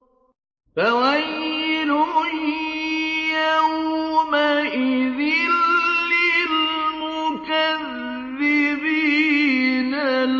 فَوَيْلٌ يَوْمَئِذٍ لِّلْمُكَذِّبِينَ